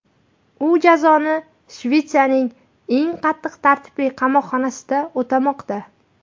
U jazoni Shvetsiyaning eng qattiq tartibli qamoqxonasida o‘tamoqda .